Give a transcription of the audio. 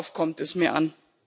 Darauf kommt es mir an.